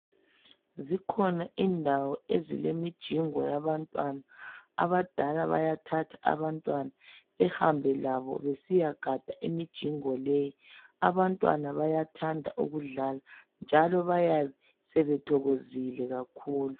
Zikhona indawo ezilemijingo yabantwana, abadala bayathatha abantwana behambe labo besiyagada imijingo leyi, abantwana bayathanda ukudlala njalo bayabe sebethokozile kakhulu.